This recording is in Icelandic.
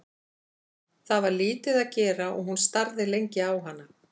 Það var lítið að gera og hún starði lengi á hana.